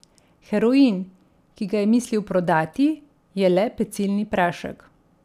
Heroin, ki ga je mislil prodati, je le pecilni prašek.